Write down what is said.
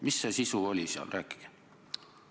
Mis see sisu oli seal?